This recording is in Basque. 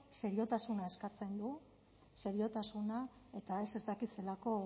seriotasuna eskatzen du seriotasuna eta ez ez dakit zelako